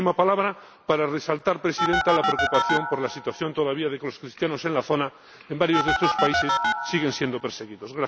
Y una última palabra para resaltar, Presidenta, la preocupación por la situación de los cristianos en la zona, en varios de estos países, que siguen siendo perseguidos